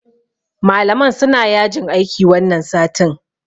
Malaman suna yajin aiki wannan satin.